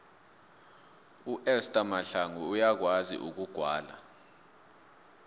uester mahlangu uyakwazi ukugwala